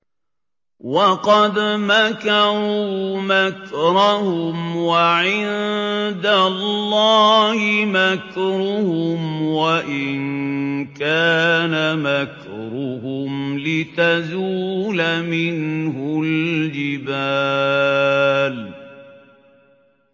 وَقَدْ مَكَرُوا مَكْرَهُمْ وَعِندَ اللَّهِ مَكْرُهُمْ وَإِن كَانَ مَكْرُهُمْ لِتَزُولَ مِنْهُ الْجِبَالُ